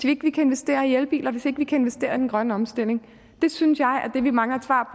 ikke kan investere i elbiler hvis ikke vi kan investere i den grønne omstilling det synes jeg er det vi mangler et svar